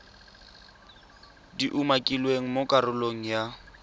di umakilweng mo karolong ya